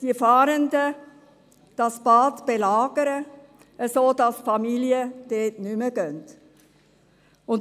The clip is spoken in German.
– belagern die Fahrenden das Bad, sodass die Familien nicht mehr hingehen.